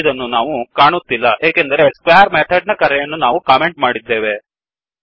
25 ಅನ್ನು ನಾವು ಕಾಣುತ್ತಿಲ್ಲ ಏಕೆಂದರೆ ಸ್ಕ್ವೇರ್ ಮೆಥಡ್ ನ ಕರೆಯನ್ನು ನಾವು ಕಮೆಂಟ್ ಮಾಡಿದ್ದೇವೆ